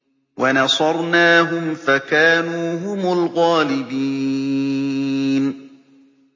وَنَصَرْنَاهُمْ فَكَانُوا هُمُ الْغَالِبِينَ